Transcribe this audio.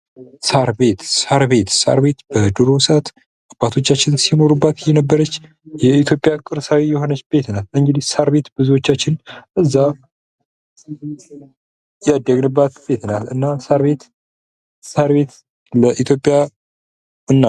ሳር ቤት፤ ሳር ቤት በድሮ ሰአት አባቶቻችን ሲኖሩባት የነበረች የኢትዮጵያ ቅርሳዊ የሆነች ቤት ናት። እንግዲህ ሳር ቤት ብዙዎቻችን ያደግባት ቤት ናት። እናም ሳር ቤት ለኢትዮጵያ...